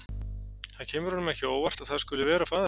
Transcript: Það kemur honum ekki á óvart að það skuli vera faðir hans.